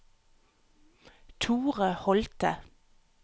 Thore Holte